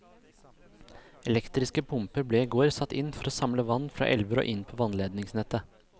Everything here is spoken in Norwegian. Elektriske pumper ble i går satt inn for å samle vann fra elver og inn på vannledningsnettet.